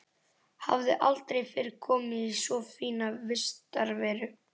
Hafði aldrei fyrr komið í svo fína vistarveru.